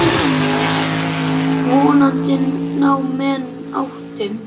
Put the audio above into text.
Vonandi ná menn áttum.